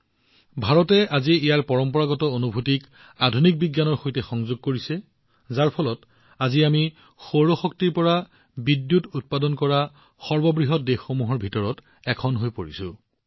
আজি ভাৰতে নিজৰ পৰম্পৰাগত অভিজ্ঞতাক আধুনিক বিজ্ঞানৰ সৈতে একত্ৰিত কৰি আছে সেয়েহে আজি আমি সৌৰ শক্তিৰ পৰা বিদ্যুৎ উৎপাদন কৰা সৰ্ববৃহৎ দেশসমূহৰ ভিতৰত এখন হৈ পৰিছো